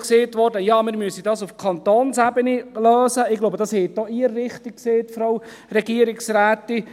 Es wurde auch gesagt, man müsse es auf Kantonsebene lösen – ich glaube, das haben auch Sie richtig gesagt, Frau Regierungsrätin: